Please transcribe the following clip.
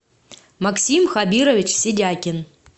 максим хабирович сидякин